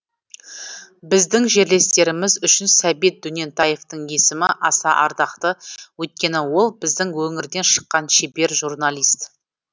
біздің жерлестеріміз үшін сәбит дөнентаевтың есімі аса ардақты өйткені ол біздің өңірден шыққан шебер журналист